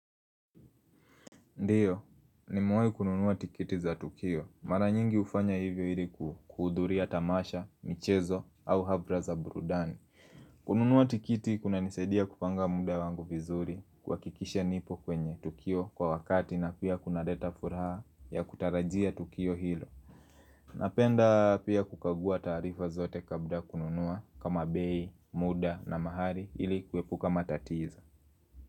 Ndiyo, nimewahi kununua tikiti za Tukio. Mara nyingi hufanya hivi ili kuhudhuria tamasha, michezo, au hafla za burudani. Kununua tikiti kunanisaidia kupanga muda wangu vizuri kuhakikisha nipo kwenye Tukio kwa wakati na pia kunaleta furaha ya kutarajia Tukio hilo. Napenda pia kukagua taarifa zote kabla ya kununua kama bei, muda na mahali ili kuepuka matatizo.